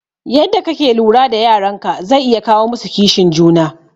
Yadda kake lura da yaran ka zai iya kawo musu kishin juna